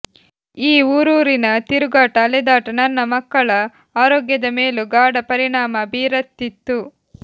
ಈ ಊರೂರಿನ ತಿರುಗಾಟ ಅಲೆದಾಟ ನನ್ನ ಮಕ್ಕಳ ಆರೋಗ್ಯದ ಮೇಲೂ ಗಾಢ ಪರಿಣಾಮ ಬೀರತಿತ್ತು